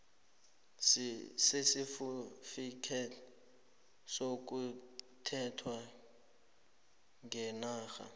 sesitifikhethi sokulethwa ngenarheni